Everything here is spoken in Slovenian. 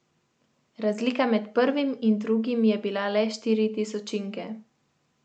Razlika med prvim in drugim je bila le štiri tisočinke.